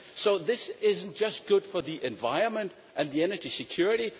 So, this is not just good for the environment and the energy security